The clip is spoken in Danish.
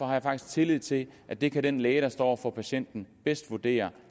har faktisk tillid til at det kan den læge der står over for patienten bedst vurdere